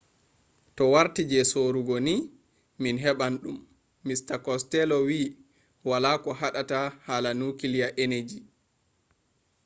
to warti je sorugo ni min heɓan ɗum. mista costello wi wala ko haɗata hala nukliya eneji.